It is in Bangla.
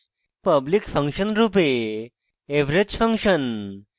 public ফাংশন রূপে average ফাংশন